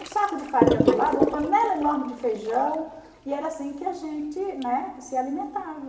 Um saco de farinha do lado, uma panela enorme de feijão, e era assim que a gente, né, se alimentava.